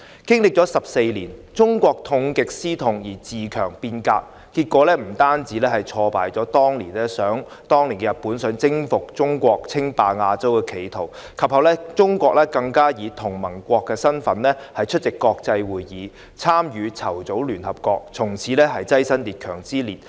經歷14年後，中國痛定思痛，自強變革，結果不但挫敗了當年日本想征服中國、稱霸亞洲的企圖，及後中國更以同盟國身份出席國際會議，參與籌組聯合國，從此躋身強國之列。